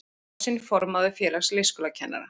Kosinn formaður Félags leikskólakennara